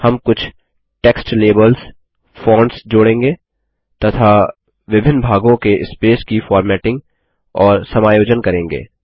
हम कुछ text labels fonts जोड़ेंगे तथा विभिन्न भागों के स्पेस की फॉर्मेटिंग और समायोजन करेंगे